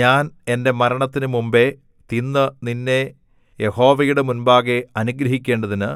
ഞാൻ എന്റെ മരണത്തിനു മുമ്പെ തിന്നു നിന്നെ യഹോവയുടെ മുമ്പാകെ അനുഗ്രഹിക്കേണ്ടതിനു